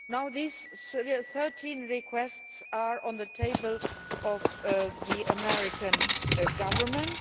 These 13 requests are now on the table of the American government.